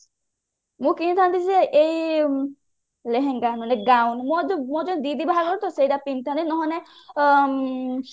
ମୁଁ କିଣିଥାନ୍ତି ଯେ ଏଇ ଲେହେଙ୍ଗା ମାନେ ମୋର ଯୋଉ ଦିଦି ବାହାଘର ତ ସେଟା ପିନ୍ଧି ଥାନ୍ତି ନହଲେ ନାଇଁ ଅ